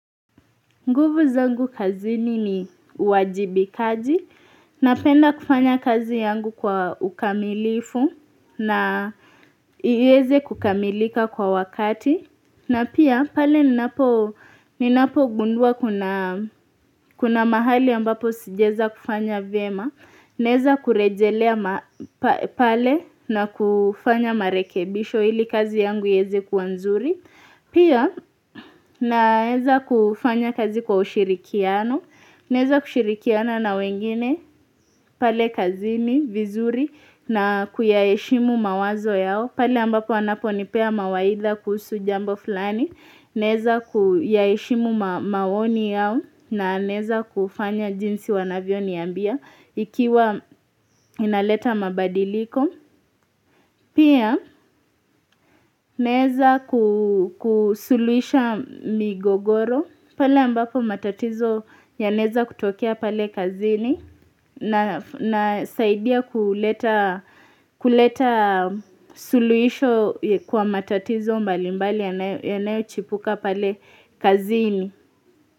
Nguvu zangu kazini ni uwajibikaji. Napenda kufanya kazi yangu kwa ukamilifu na iweze kukamilika kwa wakati. Na pia pale ninapogundua kuna mahali ambapo sijaweza kufanya vema. Naeza kurejelea pale na kufanya marekebisho ili kazi yangu iweze kuwa nzuri. Pia naeza kufanya kazi kwa ushirikiano, naweza kushirikiana na wengine pale kazini, vizuri na kuyaheshimu mawazo yao, pale ambapo wanapo nipea mawaidha kuhusu jambo fulani, naeza kuyaheshimu maoni yao na naweza kufanya jinsi wanavyoniambia ikiwa inaleta mabadiliko. Pia naeza kusuluhisha migogoro pale ambako matatizo yanaeza kutokea pale kazini nasaidia kuleta suluhisho kwa matatizo mbali mbali yanayochipuka pale kazini.